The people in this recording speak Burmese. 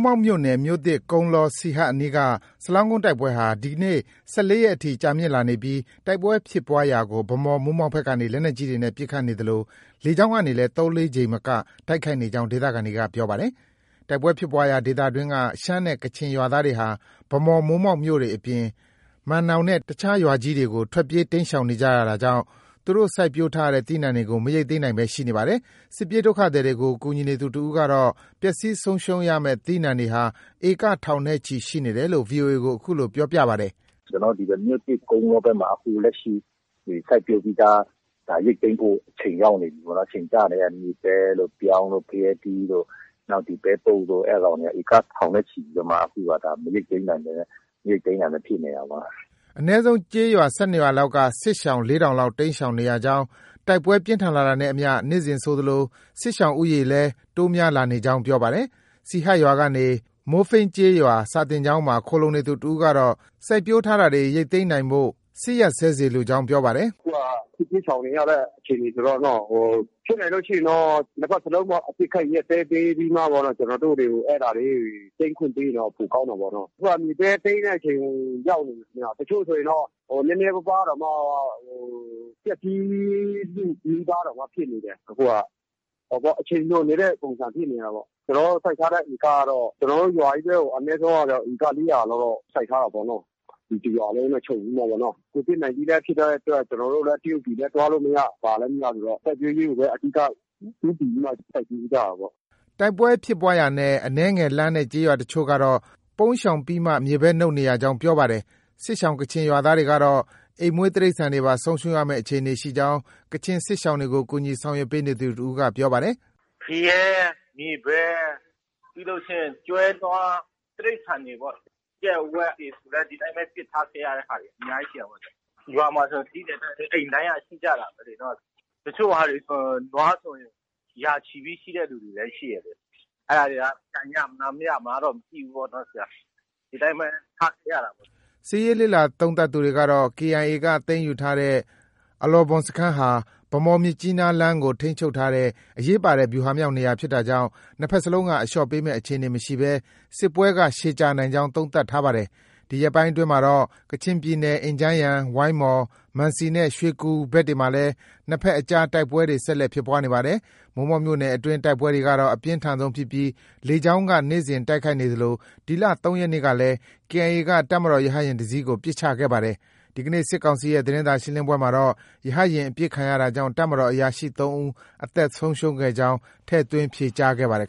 မောက်မြို့နယ် မြို့သစ်၊ ကုန်းလော၊ စီဟတ်အနီးက စလောင်းကုန်းတိုက်ပွဲဟာ ဒီနေ့ ၁၄ရက်အထိ ကြာမြင့်လာနြေ ပီး တိုက်ပွဲဖြစ်ပွားရာကို ဗန်းမော်၊ မိုးမောက်ဘက်ကနေ လက်နက်ကြီးတွေနဲ့ ပစ်ခတ်နေသလို လေကြောင်းကနေလည်း ၃-၄ကြိမ်မက တိုက်ခိုက်နေကြောင်း ဒေသခံတွေက ပြောပါတယ်။ တိုက်ပွဲဖြစ်ပွားရာ ဒေသအတွင်းက ရှမ်းနဲ့ ကချင်ရွာသားတွေဟာ ဗန်းမော်၊ မိုးမောက်မြို့တွေအပြင် မန်နောင်နဲ့ အခြားရွာကြီးတွေကို ထွက်ပြေး တိမ်းရှောင်နေကြရတာကြောင့် သူတို့ စိုက်ပျိုးထားတဲ့ သီးနှံတွေကို မရိတ်သိမ်းနိုင်ဘဲ ရှိနေပါတယ်။ စစ်ပြေးဒုက္ခသည်တွေကို ကူညီနေသူတစ်ဦးကတော့ ပျက်ဆီးဆုံးရှုံးရမယ် သီးနှံတွေဟာ ဧက ထောင်နဲ့ ချီရှိနေတယ်လို့ VOA ကို အခုလို ပြောပါတယ်။ “ ကျနော်တို့ ဒီ မြို့သစ်ကုန်းလောဘက်မှာ အခုဒီ စိုက်ပျိုးပြီးသား ရိတ်သိမ်းဖို့ အချိန်ကျနေတဲ့ မြေပဲတို့၊ ပြောင်းတို့၊ ဖရဲသီးတို့၊ ပဲပုပ်တို့ အဲဒီကောင်တွေက ဧက ထောင်နဲ့ချီပြီးတော့မှ အခုက မရိတ်သိမ်းနိုင်ဘဲနဲ့ ဖြစ်နေတာပေါ့။” အနည်းဆုံး ကျေးရွာ ၁၂ရွာလောက်က စစ်ရှောင် ၄ထောင်လောက်တိမ်းရှောင်နေရကြောင်း၊ တိုက်ပွဲပြင်းထန်လာတာနဲ့အ မျှ နေ့စဉ်ဆိုသလို စစ်ရှောင်ဦးရေလည်း တိုးများလာနေကြောင်း ပြောပါတယ်။ စီဟတ်ရွာကနေ မိုးဖိန်းကျေးရွာ စာသင်ကျောင်းမှာ ခိုလှုံနေသူတစ်ဦးကတော့ စိုက်ပျိုးထားတာတွေ ရိတ်သိမ်းနိုင်ဖို့ စစ်ရပ်စဲစေလိုကြောင်း ပြောပါတယ်။ “ အခုက စစ်ဘေးရှောင်နေရတဲ့ အချိန်ဆိုတော့နော။ ဖြစ်နိုင်ရင်တော့ နှစ်ဘက်စလုံးပေါ့ အပစ်အခတ် ရပ်စဲပေးပြီး ကျနော်တို့တွေကို အဲဒါလေးတွေ သိမ်းခွင့်ပေးရင်တော့ပိုကောင်းတာပေါ့နော။ အခုက မြေပဲ သိမ်းတဲ့အချိန်တဲ့ အချိန်ရောက်ပြီဗျ။ တချို့ ဆိုရင်တော့ နည်းနည်းပါးပါးတောင်မှ ပျက်ဆီးလုနီးပါး ဖြစ်နေတယ် အခုက။ အချိန်လွန်နေတဲ့ ပုံစံဖြစ်နေတာပေါ့။ ကျနောတို့စိုက်ထားတဲ့ ဧကကတော့ ကျနော်တို့ ရွာချည်းအနည်းဆုံး ဧက ၄၀၀လောက်တော့ စိုက်ထားတာပေါ့နော။ တစ်ရွာလုံးနဲ့ ခြုံပြီးမှပေါ့နော။ Covid 19 ဖြစ်ထားတဲ့အတွက် ကျနော်တို့လည်း တရုတ်ပြည်လည်း သွားလို့ မရ ၊ ဘာလည်း မရဆိုတော့ စိုက်ပျိုးရေးကိုပဲ အဓိက ဦးတည်ပြီးမှ စိုက်ပျိုးကြတာပေ့ါ။” တိုက်ပွဲဖြစ်ပွားရာနဲ့ အနည်းငယ်လှမ်းတဲ့ တချို့ရွာတွေကတော့ ပုန်းရှောင်ပြီးမှ မြေပဲနုတ်နေရကြောင်း ပြောပါတယ်။ စစ်ရှောင်ကချင်ရွာသားတွေကတော့ အိမ်မွေး တိရိစ္ဆာန်တွေပါ ဆုံးရှုံးရမယ်အခြေအနေရှိကြောင်း ကချင်စစ်ရှောင်တွေကို ကူညီဆောင်ရွက်ပေးနေသူတစ်ဦးက ပြောပါတယ်။ “ ဖရဲ၊ မြေပဲ ပြီးရင် ကျွဲ၊နွား တိရိစ္ဆာန်တွေပေါ့။ ကြက်၊ ဝက်တွေဆိုလည်း ဒီတိုင်းပဲ ပစ်ထားခဲ့ရတာ။ အများကြီး ရှိတာပေါ့။ ရွာမှာဆို သိတဲ့အတိုင်းပဲ အိမ်တိုင်းက ရှိကြတာပဲလေ။ တချို့ဟာတွေဆို နွားဆို ရာချီပြီးရှိတဲ့သူတွေလည်း ရှိတယ်။ အဲဒါတွေက ပြန်ရမလား၊ မရမလားဆိုတာ မသိဘူးပေါ့နော်။ ဒီတိုင်းပဲ ထားခဲ့ရတာပဲ။” စစ်ရေးလေ့လာသုံးသပ်သူတွေကတော့ KIA က သိမ်းယူထားတဲ့ အလောဘွမ်စခန်းဟာ ဗန်းမော်-မြစ်ကြီးနားလမ်းကို ထိန်းချုပ်ထားတဲ့ အရေးပါတဲ့ ဗျူဟာမြောက်နေရာဖြစ်တာကြောင့် နှစ်ဘက်လုံးက အလျော့ပေးမယ့် အခြေအနေမရှိဘဲ စစ်ပွဲက ရှည်ကြာနိုင်ကြောင်း သုံးသပ်ထားပါတယ်။ ဒီရက်ပိုင်းအတွင်းမှာတော့ ကချင်ပြည်နယ် အင်ဂျန်းယန်၊ ဝိုင်းမော်၊ မန်စီနဲ့ ရွှေကူဘက်တွေမှာလည်း နှစ်ဘက်အကြား တိုက်ပွဲတွေ ဆက်တိုက်ဖြစ်ပွားနေပါတယ်။ မိုးမောက်မြို့နယ်အတွင်း တိုက်ပွဲကတော့ အပြင်းထန်ဆုံးဖြစ်ပြီး လေကြောင်း က နေ့စဉ်တိုက်ခိုက်နေသလို ဒီလ ၃ရက်နေ့ကလည်း KIA က တပ်မတော်ရဟတ်ယာဉ်တစ်စီးကို ပစ်ချခဲ့ပါတယ်။ ဒီနေ့ စစ်ကောင်စီရဲ့ သတင်းစာရှင်းလင်းပွဲမှာတော့ ရဟတ်ယာဉ်အပစ်ခံရတာကြောင့် တပ်မတော် အရာရှိ ၃ဦး အသက်ဆုံးရှုံးခဲ့ကြောင်း ထည့်သွင်း ဖြေကြားခဲ့ပါတယ်